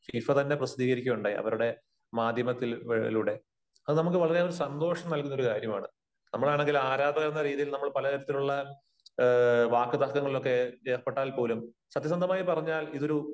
FIFA തന്നെ പ്രസിദ്ധീകരിക്കുകയുണ്ടായി, അവരുടെ മാധ്യമത്തിലൂടെ. അത് നമുക്ക് വളരെ ഏറെ സന്തോഷം നല്കുന്ന ഒരു കാര്യമാണ്. നമ്മളാണെങ്കിൽ ആരാധകരെന്ന രീതിയില് നമ്മൾ പല തരത്തിലുള്ള വാക്കുതർക്കങ്ങളിലൊക്കെ ഏർപ്പെട്ടാൽ പോലും സത്യ സന്ധമായി പറഞ്ഞാൽ ഇതൊരു